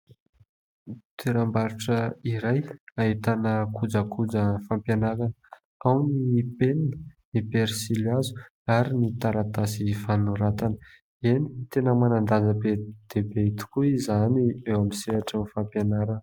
Toeram-barotra iray ahitana kojakoja fampianarana, ao ny penina, ny pensilihazo ary ny taratasy fanoratana. Eny, tena manan-danja be dia be tokoa izany eo amin'ny sehatrin'ny fampianarana.